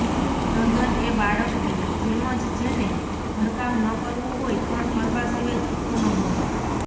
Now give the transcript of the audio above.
તદ્દન એ બાળકની જેમજ જેને ઘરકામ ન કરવું હોય પણ કરવા સિવાય છૂટકો ન હોય